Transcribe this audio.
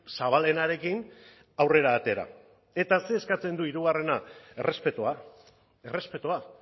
zabalenarekin aurrera atera eta zer eskatzen du hirugarrena errespetua errespetua